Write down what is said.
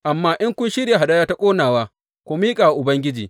Amma in kun shirya hadaya ta ƙonawa, ku miƙa wa Ubangiji.